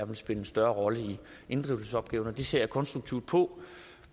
vil spille en større rolle i inddrivelsesopgaverne det ser jeg konstruktivt på